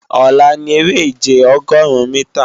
Ọ̀la ni eré-ìje Ọgọrun-mìtà